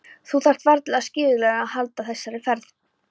Þú þarft varla á skíðagleraugum að halda í þessari ferð.